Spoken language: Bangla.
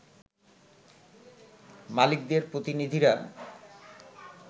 মালিকদের প্রতিনিধিরা